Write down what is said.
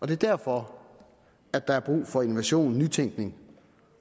det er derfor at der er brug for innovation og nytænkning